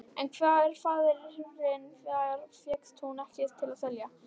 En hver faðirinn var fékkst hún ekki til að segja.